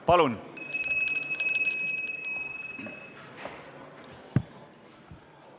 Palun!